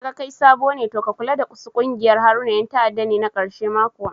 Naga kai sabo ne to ka kula dasu ƙungiyar Haruna yan ta'adda ne na karshe ma kuwa